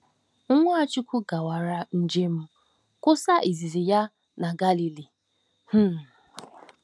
Nwachukwu gawara njem nkwusa izizi ya na Galili. um